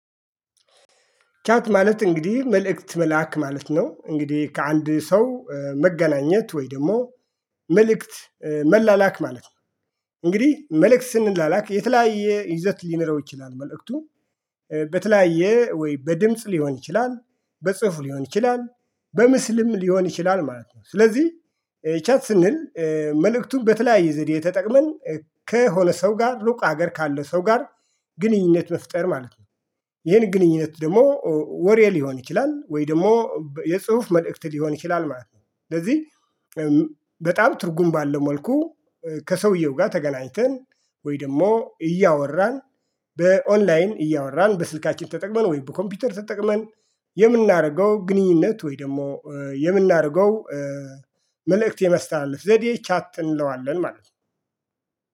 ቻት ማለት እንግዲህ መልእክት መላክ ማለት ነው። እንግዲህ ከአንድ ሰው መገናኘት ወይ ደግሞ መልእክት መላላክ ማለት ነው። እንግዲህ መልእክት ስንላላክ የተለያየ ይዘት ሊኖረው ይችላል። መልእክቱ በተለያየ ወይ በድምጽ ሊሆን ይችላል። በጽሁፍ ሊሆን ይችላል። በምስልም ሊሆን ይችላል። ማለት ነው ስለዚህ ሂቻት ስንል መልእክቱን በተለያየ ዘዴ የተጠቅመን ከሆነ ሰው ጋር ሉቅ ሀገር ካለ ሰው ጋር ግንኙነት መፍጠር ማለት ነው። ይሄን ግንኙነት ደግሞ ወሬ ሊሆን ይችላል። ወይ ደግሞ የጽሁፍ መልእክት ሊሆን ይችላል። ማለት ነው ስለዚህ በጣም ትርጉም ባለው መልኩ ከሰውየው ጋር ተገናኝተን ወይ ደግሞ እያወራን በኦንላይን እያወራን በስልካችን ተጠቅመን ወይ በኮምፒውተር ተጠቅመን የምናደርገው ግንኙነት ወይ ደግሞ የምናደርገው መልእክት የመስተላለፍ ዘዴ ቻት እንለዋለን ማለት ነው።